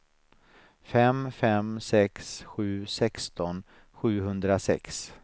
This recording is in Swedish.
fem fem sex sju sexton sjuhundrasex